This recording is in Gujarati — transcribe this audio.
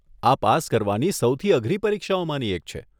આ પાસ કરવાની સૌથી અઘરી પરીક્ષાઓમાંની એક છે.